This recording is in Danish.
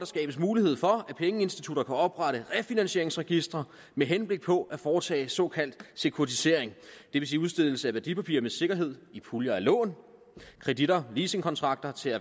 skabes mulighed for at pengeinstitutter kan oprette refinansieringsregistre med henblik på at foretage såkaldt sekuritisering det vil sige udstedelse af værdipapirer med sikkerhed i puljer og lån kreditter leasingkontrakter til